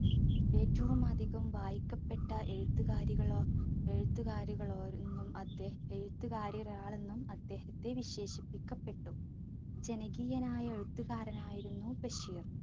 ഏറ്റവുമധികം വായിക്കപ്പെട്ട എഴുത്തുകാരികളോ എഴുത്തുകാരികളൊരൊന്നും അദ്ദേ എഴുത്തുകാരിലൊരാളെന്നും അദ്ദേഹത്തെ വിശേഷിക്കപ്പെട്ടു. ജനകീയനായ എഴുത്തുകാരനായിരുന്നു ബഷീർ.